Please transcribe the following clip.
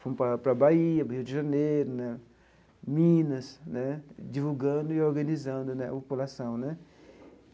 Fui para para a Bahia, Rio de Janeiro né, Minas né, divulgando e organizando né a população né.